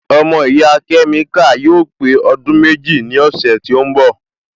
Ọmọ ìyá kẹ́míkà yóò pé ọdún méjì ní ọ̀sẹ̀ tí ó ń bọ̀